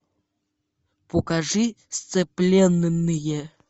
покажи сцепленные